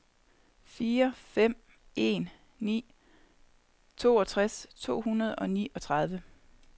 fire fem en ni toogtres to hundrede og niogtredive